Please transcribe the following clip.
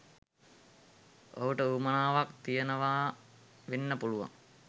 ඔහුට උවමනාවක් තියෙනවා වෙන්න පුළුවන්